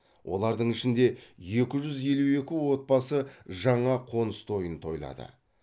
олардың ішінде екі жүз елу екі отбасы жаңа қоныс тойын тойлады